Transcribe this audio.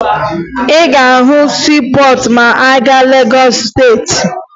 Ị ga-ahụ siipọọtụ ma ị gaa na Legọọsụ Steeti